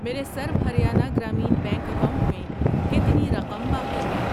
میرے سرو Haryana Gramin bank account میں کتنی رقم باقی ہے؟